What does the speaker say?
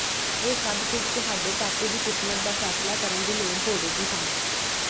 ਇਹ ਸਭ ਕੁਝ ਤੁਹਾਡੇ ਟਾਪੂ ਦੀ ਕਿਸਮਤ ਦਾ ਫ਼ੈਸਲਾ ਕਰਨ ਦੀ ਲੋੜ ਹੋਵੇਗੀ ਹਨ